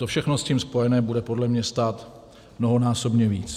To všechno s tím spojené bude podle mě stát mnohonásobně víc.